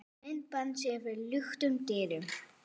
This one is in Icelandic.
Myndband sýnt fyrir luktum dyrum